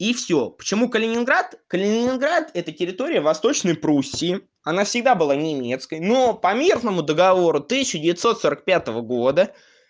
и всё почему калининград калининград это территория восточной пруссии она всегда была немецкой но по мирному договору тысяча девятьсот сорок пятого года